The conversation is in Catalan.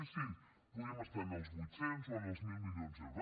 sí sí podríem estar en els vuit cents o en els mil milions d’euros